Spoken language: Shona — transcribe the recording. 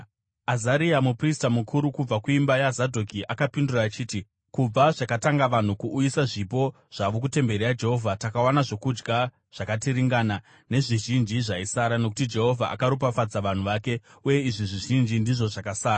Azaria muprista mukuru kubva kuimba yaZadhoki akapindura achiti, “Kubva zvakatanga vanhu kuuyisa zvipo zvavo kutemberi yaJehovha, takawana zvokudya zvakatiringana, nezvizhinji zvaisara, nokuti Jehovha akaropafadza vanhu vake, uye izvi zvizhinji ndizvo zvakasara.”